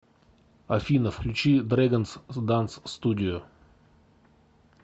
афина включи дрэгонз данс студио